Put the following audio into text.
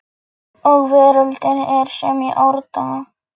Og veröldin er sem í árdaga